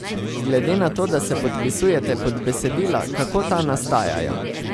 Glede na to, da se podpisujete pod besedila, kako ta nastajajo?